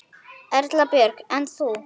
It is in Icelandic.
Erla Björg: En þú?